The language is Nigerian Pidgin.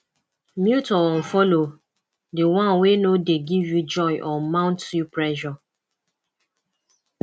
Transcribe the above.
mute or unfollow di one wey no de give you joy or mount you pressure